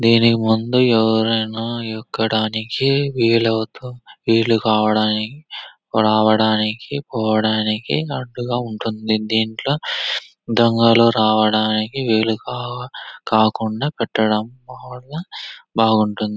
దీని ముందు ఎవరైనా ఎక్కడానికి వీలవుతూ విల్లుకావడానికి రావడానికి పోవడానికి అడ్డుగా ఉంటుంది. దీంట్లో దొంగలు రావడానికి వీలుగా కాకుండా కట్టడం బాగుంటుంది.